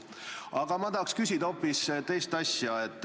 Aga ma tahan küsida hoopis teise asja kohta.